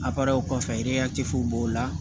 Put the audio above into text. kɔfɛ b'o la